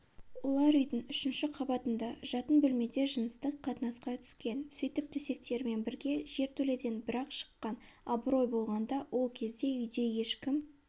олар үйдің үшінші қабатында жатын бөлмеде жыныстықт қатынасқа түскен сөйтіп төсектерімен бірге жертөледен бір-ақ шыққан абырой болғанда ол кезде үйде ешкім